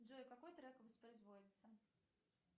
джой какой трек воспроизводится